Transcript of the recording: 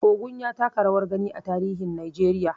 Ogun ya taka rawar gani a tarihin Najeriya.